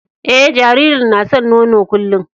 Eh, jaririn na san nono kullum.